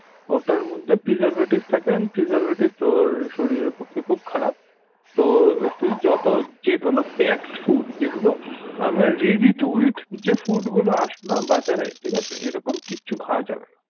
ওটার মধ্যে preservative থাকে and preservative তোর শরীরের পক্ষে খুব খারাপ তো তুই যত যেকোনো packed food যেগুলো আমার ready to eat যে food গুলো আসেনা বাজারে ঠিক আছে এরকম কিচ্ছু খাওয়া যাবেনা